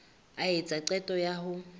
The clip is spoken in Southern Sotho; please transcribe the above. a etsa qeto ya ho